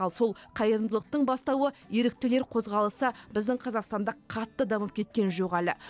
ал сол қайырымдылықтың бастауы еріктілер қозғалысы біздің қазақстанда қатты дамып кеткен жоқ әлі